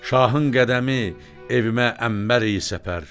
Şahın qədəmi evimə ənbər eyi səpər.